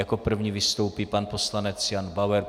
Jako první vystoupí pan poslanec Jan Bauer.